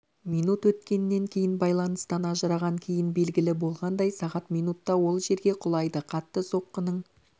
минут өткеннен кейін байланыстан ажыраған кейін белгілі болғандай сағат минутта ол жерге құлайды қатты соққының